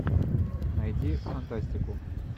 найди фантастику